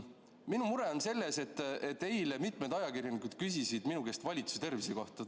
Minu mure on selles, et eile mitmed ajakirjanikud küsisid minu käest valitsuse tervise kohta.